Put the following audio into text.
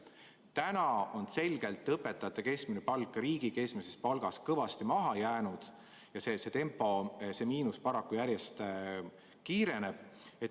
Täna on selgelt õpetajate keskmine palk riigi keskmisest palgast kõvasti maha jäänud ja selle tempoga see miinus paraku järjest suureneb.